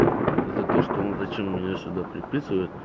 за то что он зачем меня сюда приписывает